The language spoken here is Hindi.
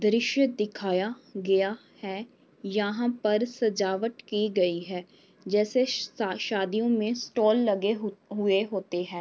दृश्य दिखाया गेया है। यहाँ पर सजावट की गई है जैसे शा शादियों में स्टॉल लगे हु हुए होते हैं।